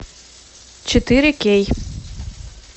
четыре кей